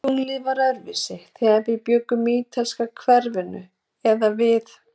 Tunglið var öðruvísi, þegar við bjuggum í ítalska hverfinu eða við